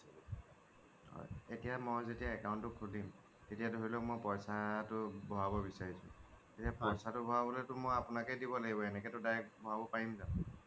হয় এতিয়া যেতিয়া মই account টো খোলিম এতিয়া ধৰি লওক মই পইছা টো ভৰাব বিচাৰিছোঁ টো সেই পইছাতো ভৰাবলৈ মইটো আপোনাকয়ে দিব লাগিব এনেকে টো direct ভৰাব পাৰিম জানো